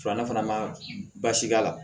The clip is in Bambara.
Filanan fana ma baasi k'a la